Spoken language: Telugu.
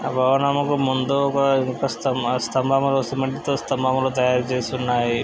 ఆ భవనమునకు ముందు ఒక ఇనుప స్తంభ స్తంభము. సిమెంట్ తో స్తంభములు తయారు చేసి ఉన్నాయి.